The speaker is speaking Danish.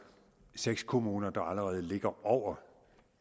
seks kommuner der allerede ligger over